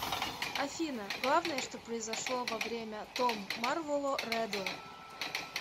афина главное что произошло во время том марволо реддл